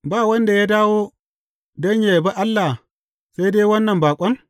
Ba wanda ya dawo don yă yabi Allah, sai dai wannan baƙon?